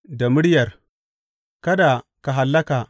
Da muryar Kada Ka Hallaka.